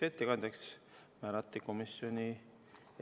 Juhtivkomisjoni ettepanek on eelnõu 213 esimene lugemine lõpetada.